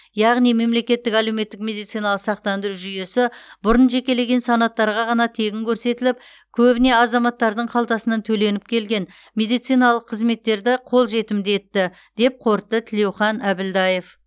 яғни мемлекеттік әлеуметтік медициналық сақтандыру жүйесі бұрын жекелеген санаттарға ғана тегін көрсетіліп көбіне азаматтардың қалтасынан төленіп келген медициналық қызметтерді қолжетімді етті деп қорытты тілеухан әбілдаев